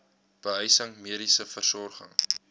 behuising mediese versorging